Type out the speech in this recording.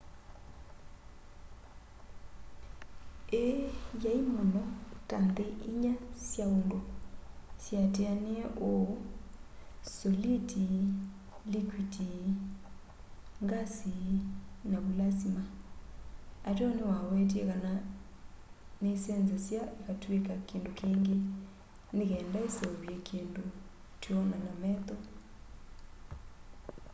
ii yai muno ta nthi inya sya undu syiatinie uu : soliti likwiti ngasi na vulasima ateo niwawetie kana nisenzasya ikatwika kindu kingi ni kenda iseuvye kindu twiona na metho